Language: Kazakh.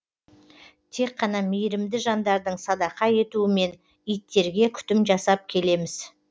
тек қана мейірімді жандардың садақа етуімен иттерге күтім жасап келеміз